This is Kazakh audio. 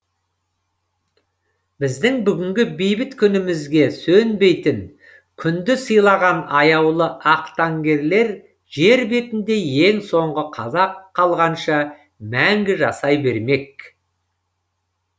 біздің бүгінгі бейбіт күнімізге сөнбейтін күнді сыйлаған аяулы ақтаңгерлер жер бетінде ең соңғы қазақ қалғанша мәңгі жасай бермек